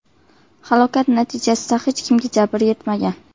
Halokat natijasida hech kimga jabr yetmagan.